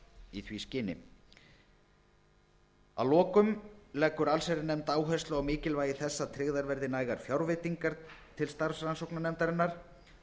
í því skyni að lokum leggur nefndin áherslu á mikilvægi þess að tryggðar verði nægar fjárveitingar til starfs rannsóknarnefndarinnar